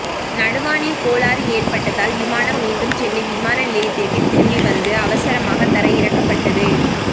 நடுவானில் கோளாறு ஏற்பட்டதால் விமானம் மீண்டும் சென்னை விமான நிலையத்திற்கே திரும்பி வந்து அவசரமாக தரையிறக்கப்பட்டது